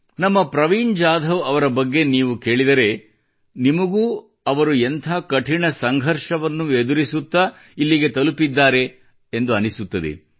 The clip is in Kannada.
ನಮ್ಮ ಪ್ರವೀಣ್ ಜಾಧವ್ ಅವರ ಬಗ್ಗೆ ನೀವು ಕೇಳಿದರೆ ನಿಮಗೂ ಅವರು ಎಂಥ ಕಠಿಣ ಸಂಘರ್ಷವನ್ನು ಎದುರಿಸುತ್ತಾ ಇಲ್ಲಿಗೆ ತಲುಪಿದ್ದಾರೆ ಎಂದು ಅನ್ನಿಸುತ್ತದೆ